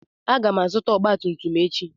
Aga m azụta ọgba tum tum echi.